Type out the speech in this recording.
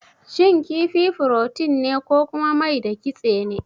Shin kifi furotin ne ko kuma mai da kitse ne?